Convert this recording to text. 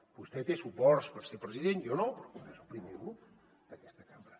vostè té suports per ser president jo no però és el primer grup d’aquesta cambra